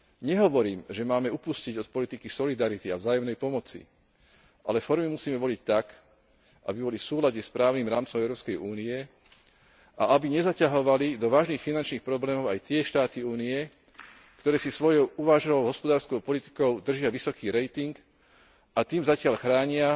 Nehovorím, že máme upustiť od politiky solidarity a vzájomnej pomoci, ale formy musíme voliť tak, aby boli v súlade s právnym rámcom Európskej únie a aby nezaťahovali do vážnych finančných problémov aj tie štáty Únie, ktoré si svojou uváženou hospodárskou politikou držia vysoký rating, a tým zatiaľ chránia